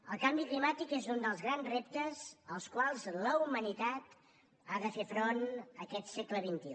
el canvi climàtic és un dels grans reptes als quals la humanitat ha de fer front aquest segle xxi